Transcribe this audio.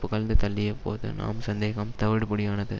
புகழ்ந்து தள்ளியபோது நம் சந்தேகம் தவிடுபொடியானது